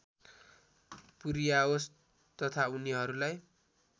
पुर्‍याओस् तथा उनीहरूलाई